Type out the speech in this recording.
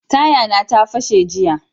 Taya na ta fashe jiya.